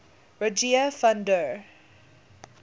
rogier van der